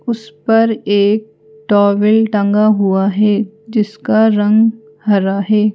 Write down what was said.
उसपर एक टॉवल टंगा हुआ है जिसका रंग हरा है।